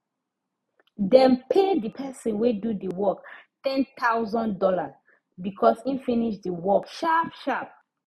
dem pay the person wey do the work ten thousand dollar because him finish the work sharp sharp